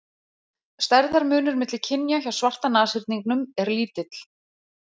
Stærðarmunur milli kynja hjá svarta nashyrningnum er lítill.